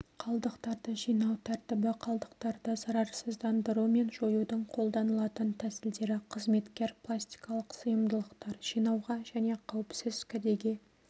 қалдықтарды жинау тәртібі қалдықтарды зарарсыздандыру мен жоюдың қоданылатын тәсілдері қызметкер пластикалық сыйымдылықтар жинауға және қауіпсіз кәдеге